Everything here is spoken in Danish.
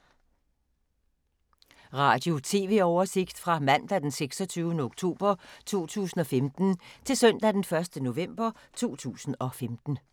Radio/TV oversigt fra mandag d. 26. oktober 2015 til søndag d. 1. november 2015